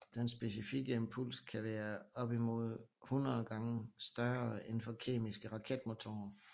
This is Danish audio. Den specifikke impuls kan være opimod hundrede gange større end for kemiske raketmotorer